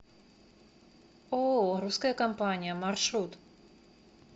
ооо русская компания маршрут